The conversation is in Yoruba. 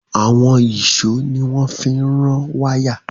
Àwọn ìṣó ni wọ́n fi ń rán wáyà